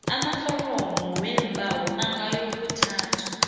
amaforomo weembawo angayokuthathwa